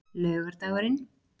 laugardagurinn